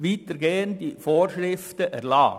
überall heisst es «können».